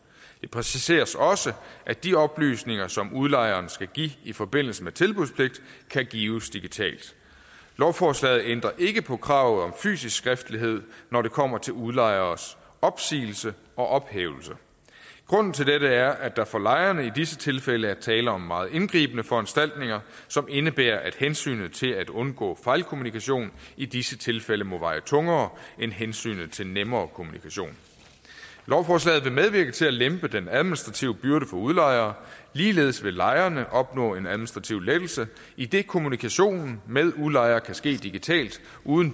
det præciseres også at de oplysninger som udlejeren skal give i forbindelse med tilbudspligt kan gives digitalt lovforslaget ændrer ikke på kravet om fysisk skriftlighed når det kommer til udlejeres opsigelse og ophævelse grunden til dette er at der for lejerne i disse tilfælde er tale om meget indgribende foranstaltninger som indebærer at hensynet til at undgå fejlkommunikation i disse tilfælde må veje tungere end hensynet til nemmere kommunikation lovforslaget vil medvirke til at lempe den administrative byrde for udlejere ligeledes vil lejerne opnå en administrativ lettelse idet kommunikationen med udlejer kan ske digitalt uden